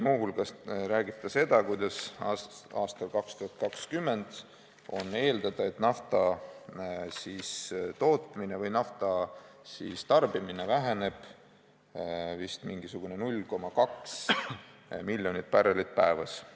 Muu hulgas räägib ta seda, kuidas aastal 2020 eeldatavalt nafta tootmine või tarbimine väheneb vist umbes 0,2 miljonit barrelit päevas.